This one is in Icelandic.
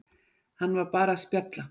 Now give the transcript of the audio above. Hann var bara að spjalla.